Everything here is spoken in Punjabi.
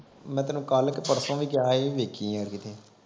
ਮੈਂ ਤੈਨੂੰ ਕੱਲ ਕ ਪਰਸੋਂ ਵੀ ਕਿਹਾ ਸੀ ਵੇਖੀ ਯਾਰ ਕਿਤੇ